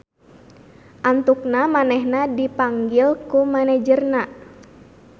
Antukna manehna dipanggil ku manajerna.